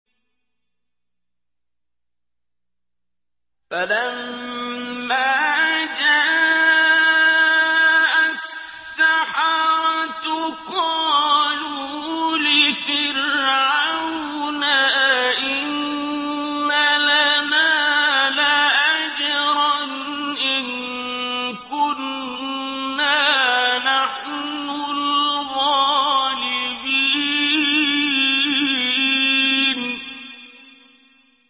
فَلَمَّا جَاءَ السَّحَرَةُ قَالُوا لِفِرْعَوْنَ أَئِنَّ لَنَا لَأَجْرًا إِن كُنَّا نَحْنُ الْغَالِبِينَ